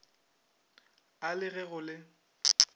a le ge go le